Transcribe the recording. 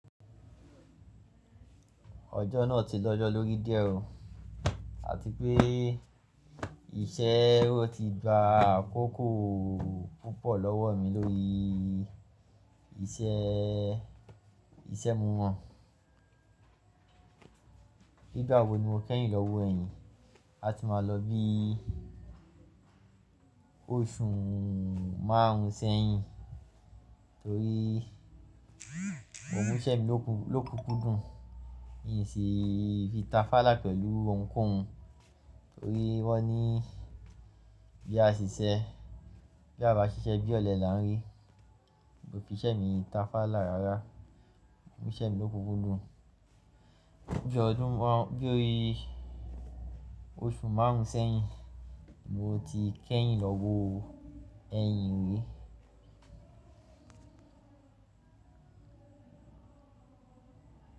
Ọjọ́ náà ti lọ́jọ́ lórí díẹ̀ o, àti pé iṣẹ́ ó ti gba àkókò púpọ̀ lọ́wọ́ mi lórí iṣẹ́, iṣẹ́ mìíràn. Nígbà wo ni mo kẹ́yìn lọ́wọ́ ẹ̀yin, a ti máa lọ bí oṣù márùn-ún sẹ́yìn torí mo mú iṣẹ́ mi ló kúkú dùn, mi sì fi ta fálá pẹ̀lú ohunkóhun torí wọ́n ní bí a ṣe ṣiṣẹ́, bí a bá ṣiṣẹ́, bí ọ̀lẹ là ń rí. Mo fi iṣẹ́ mi ta fálá rárá, mo mú iṣẹ́ mi ló kúkú dùn. Bí oṣù márùn-ún sẹ́yìn mo ti kẹ́yìn lọ́wọ́ ẹ̀yin ri.